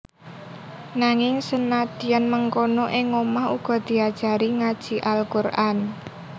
Nanging senadyan mengkono ing omah uga diajari ngaji Al Quran